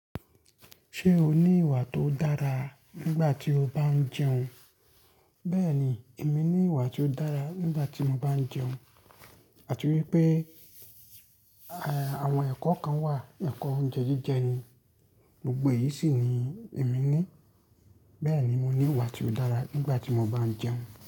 Ṣé o ní ìwà tó dára nígbà tí o bá ń jẹun? Bẹ́ẹ̀ni, èmi ní ìwà tí ó dára nígbà tí mo bá ń jẹun. Àti wípé, àwọn ẹ̀kọ́ kan wà, ẹ̀kọ́ oúnjẹ jíjẹ ni. Gbogbo èyí sì ni èmi ní. Bẹ́ẹ̀ni mo ní ìwà tí ó dára nígbà tí mo bá ń jẹun.